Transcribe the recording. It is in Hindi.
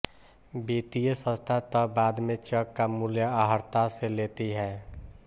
वित्तीय संस्था तब बाद में चॅक का मूल्य आहर्ता से लेती है